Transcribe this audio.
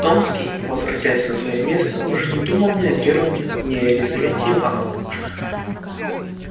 томский возвратясь на своё место уже не думал ни о германе ни о лизавете ивановне